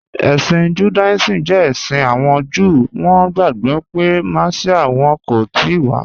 Ẹ̀ṣin Judaism jẹ ẹ̀ṣin awọn Júù, wọn gbagbọ pe Messia wọn kò tìí wà